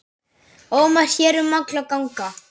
ómar hér um alla ganga.